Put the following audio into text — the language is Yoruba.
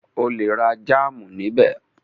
O lè ra jámù níbẹ̀.